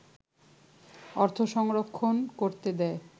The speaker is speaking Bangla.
অর্থ সংরক্ষণ করতে দেয়